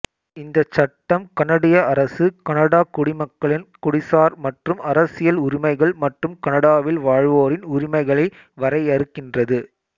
இந்தச் சட்டம் கனடிய அரசு கனடாக் குடிமக்களின் குடிசார் மற்றும் அரசியல் உரிமைகள் மற்றும் கனடாவில் வாழ்வோரின் உரிமைகளை வரையறுக்கின்றது